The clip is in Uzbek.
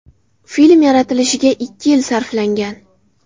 Film yaratilishiga ikki yil sarflangan.